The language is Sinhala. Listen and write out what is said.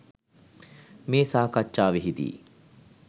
මේ සාකච්ඡාවෙහිදී